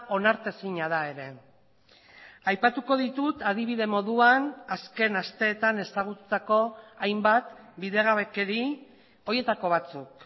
onartezina da ere aipatuko ditut adibide moduan azken asteetan ezagututako hainbat bidegabekeri horietako batzuk